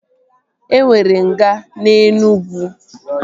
E nwere nga na Enugwu